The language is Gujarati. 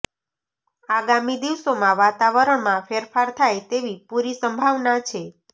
અાગામી દિવસોમાં વાતાવરણમાં ફેરફાર થાય તેવી પૂરી સંભાવના છે